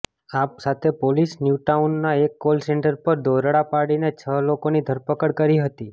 આ સાથે પોલીસે ન્યૂટાઉનમાં એક કોલ સેન્ટર પર દરોડા પાડીને છ લોકોની ધરપકડ કરી હતી